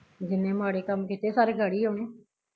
ਜਿੰਨੇ ਮਾੜੇ ਕੰਮ ਕੀਤੇ ਸਾਰੇ ਗਾੜੀ ਆਉਣੇ